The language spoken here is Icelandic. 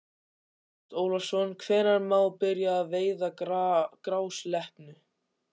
Ágúst Ólafsson: Hvenær má byrja að veiða grásleppu?